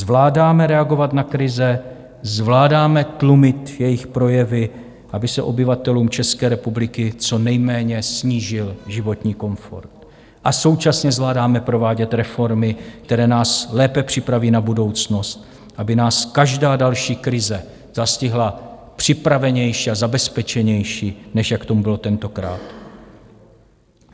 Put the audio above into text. Zvládáme reagovat na krize, zvládáme tlumit jejich projevy, aby se obyvatelům České republiky co nejméně snížil životní komfort, a současně zvládáme provádět reformy, které nás lépe připraví na budoucnost, aby nás každá další krize zastihla připravenější a zabezpečenější, než jak tomu bylo tentokrát.